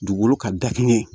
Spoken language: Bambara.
Dugukolo ka da kɛnɛ